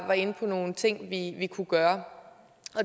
var inde på nogle ting vi vi kunne gøre